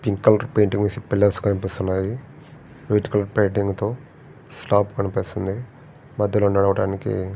Pink colour painting పూసిన pillars కనిపిస్తన్నాయి. White colour painting తో స్లాప్ కనిపిస్తన్ది మధ్యలో నడవటానికి--